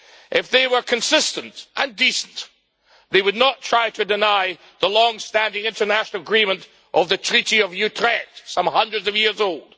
If they were consistent and decent, they would not try to deny the long standing international agreement of the Treaty of Utrecht, some hundreds of years old.